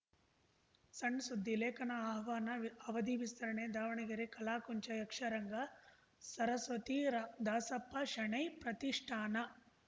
ಸಣ್‌ ಸುದ್ದಿ ಲೇಖನ ಆಹ್ವಾನ ಅವಧಿ ವಿಸ್ತರಣೆ ದಾವಣಗೆರೆ ಕಲಾಕುಂಚ ಯಕ್ಷರಂಗ ಸರಸ್ವತಿ ರಾ ದಾಸಪ್ಪ ಶೆಣೈ ಪ್ರತಿಷ್ಠಾನ